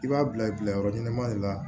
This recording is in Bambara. I b'a bila i bila yɔrɔ ɲɛnama de la